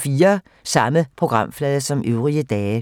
Samme programflade som øvrige dage